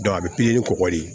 a bɛ pikiri ni kɔgɔli